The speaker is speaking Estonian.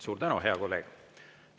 Suur tänu, hea kolleeg!